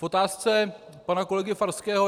K otázce pana kolegy Farského.